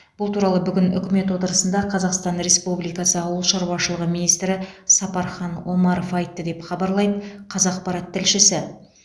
бұл туралы бүгін үкімет отырысында қазақстан республикасы ауыл шаруашылығы министрі сапархан омаров айтты деп хабарлайды қазақпарат тілшісі